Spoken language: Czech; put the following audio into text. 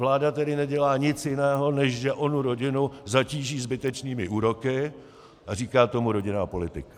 Vláda tedy nedělá nic jiného, než že onu rodinu zatíží zbytečnými úroky, a říká tomu rodinná politika.